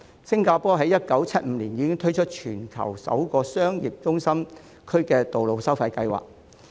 新加坡在1975年已推出全球首個商業中心區道路收費計劃。